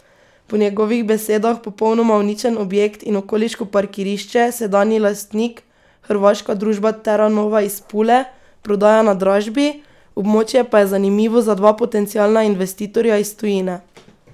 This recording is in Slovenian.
Po njegovih besedah popolnoma uničen objekt in okoliško parkirišče sedanji lastnik, hrvaška družba Teranova iz Pule prodaja na dražbi, območje pa je zanimivo za dva potencialna investitorja iz tujine.